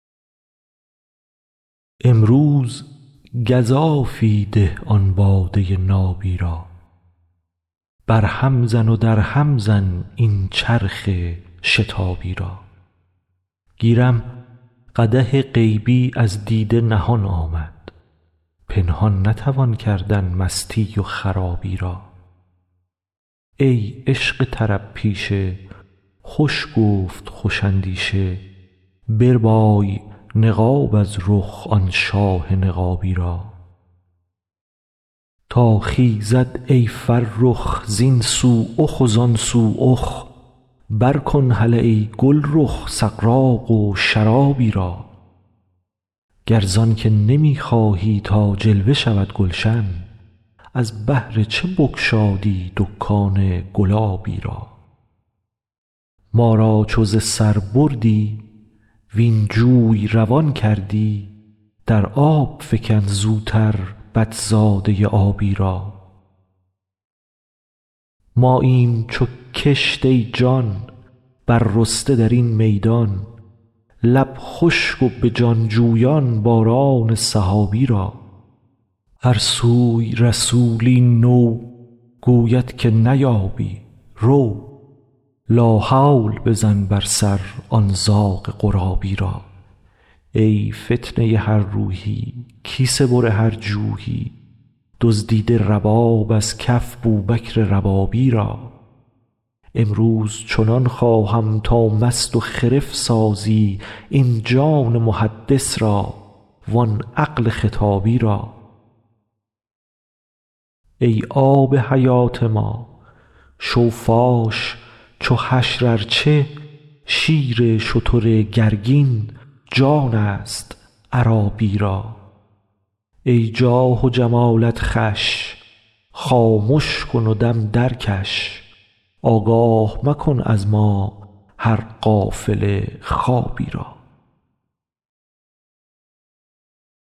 امروز گزافی ده آن باده نابی را برهم زن و درهم زن این چرخ شتابی را گیرم قدح غیبی از دیده نهان آمد پنهان نتوان کردن مستی و خرابی را ای عشق طرب پیشه خوش گفت خوش اندیشه بربای نقاب از رخ آن شاه نقابی را تا خیزد ای فرخ زین سو اخ و زان سو اخ برکن هله ای گلرخ سغراق و شرابی را گر زان که نمی خواهی تا جلوه شود گلشن از بهر چه بگشادی دکان گلابی را ما را چو ز سر بردی وین جوی روان کردی در آب فکن زوتر بط زاده ی آبی را ماییم چو کشت ای جان بررسته در این میدان لب خشک و به جان جویان باران سحابی را هر سوی رسولی نو گوید که نیابی رو لاحول بزن بر سر آن زاغ غرابی را ای فتنه ی هر روحی کیسه بر هر جوحی دزدیده رباب از کف بوبکر ربابی را امروز چنان خواهم تا مست و خرف سازی این جان محدث را وان عقل خطابی را ای آب حیات ما شو فاش چو حشر ار چه شیر شتر گرگین جانست عرابی را ای جاه و جمالت خوش خامش کن و دم درکش آگاه مکن از ما هر غافل خوابی را